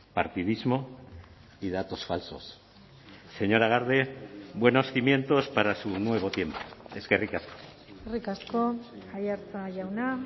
partidismo y datos falsos señora garde buenos cimientos para su nuevo tiempo eskerrik asko eskerrik asko aiartza jauna